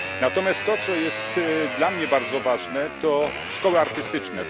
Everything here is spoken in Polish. Natomiast to, co jest dla mnie bardzo ważne, to także szkoły artystyczne.